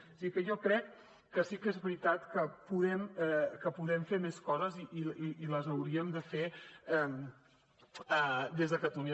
o sigui que jo crec que sí que és veritat que podem fer més coses i les hauríem de fer des de catalunya